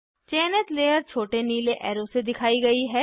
चयनित लेयर छोटे नीले एरो से दिखाई गयी है